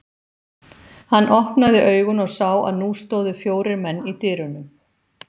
Hann opnaði augun og sá að nú stóðu fjórir menn í dyrunum.